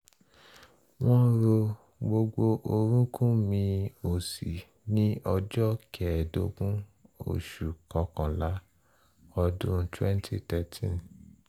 wọ́n rọ gbogbo orúnkún mi òsì ní ọjọ́ kẹẹ̀ẹ́dógún oṣù kọkànlá ọdún 2013